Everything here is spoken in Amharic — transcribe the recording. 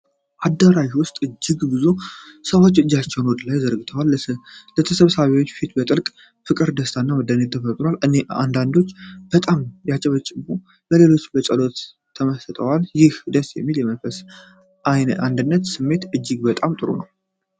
አዳራሽ ውስጥ እጅግ ብዙ ሰዎች እጆቻቸውን ወደ ላይ ዘርግተዋል። የተሰብሳቢዎቹ ፊት በጥልቅ ፍቅር፣ ደስታ እና መደነቅ ተሞልቷል። አንዳንዶቹ በጣም ሲያጨበጭቡ፣ ሌሎች በጸሎት ተመስጠዋል። ይህ ደስ የሚል የመንፈሳዊ አንድነት ስሜት እጅግ በጣም ጥሩ ነው።